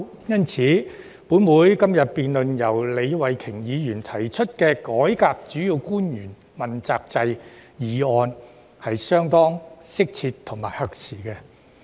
因此，本會今天討論由李慧琼議員提出的"改革主要官員問責制"議案，是相當適切和合時的。